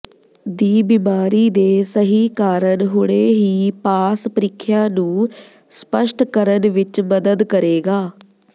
ਦੀ ਬਿਮਾਰੀ ਦੇ ਸਹੀ ਕਾਰਨ ਹੁਣੇ ਹੀ ਪਾਸ ਪ੍ਰੀਖਿਆ ਨੂੰ ਸਪੱਸ਼ਟ ਕਰਨ ਵਿੱਚ ਮਦਦ ਕਰੇਗਾ